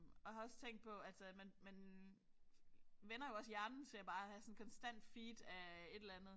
Og har også tænkt på altså man man vænner jo også hjernen til bare at have sådan konstant feed af et eller andet